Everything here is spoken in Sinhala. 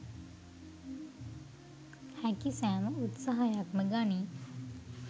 හැකි සෑම උත්සාහයක්ම ගනී